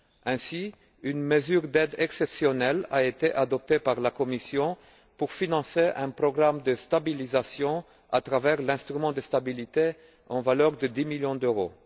Ainsi, une mesure d'aide exceptionnelle a été adoptée par la Commission pour financer un programme de stabilisation à travers l'instrument de stabilité à concurrence de 10 millions d'euros.